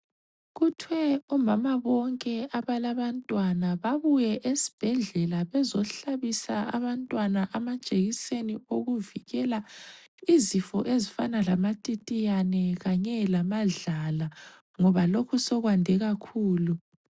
Kuthwe omama bonke abalabantwana babuye esibhedlela bezohlabisa abantwana amajekiseni okuvikela izifo ezifana lamatitiyane kanye lamadlala ngoba lokho sokwande kakhulu.